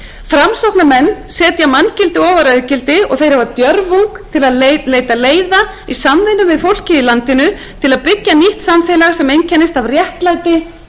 framsóknarmenn setja manngildi ofar auðgildi og þeir hafa djörfung til að leita leiða í samvinnu við fólkið í landinu til að byggja nýtt samfélag sem einkennist af réttlæti